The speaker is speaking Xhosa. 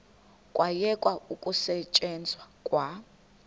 kwayekwa ukusetyenzwa kwa